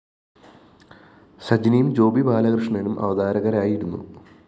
സജിനിയും ജോബി ബാലകൃഷണനും അവതാരകരായിരുന്നു